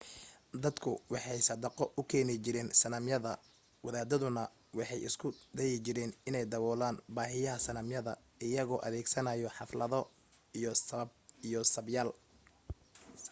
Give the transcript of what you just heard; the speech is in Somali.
dadku waxay sadaqo u keeni jireen sanamyada wadaaduna waxay isku dayi jireen inay daboolaan baahiyaha sanamyada iyagoo adeegsanaya xaflado iyo sabyaal